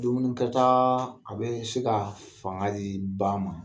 Dumunikɛ ta a be se ka fanga di ba ma.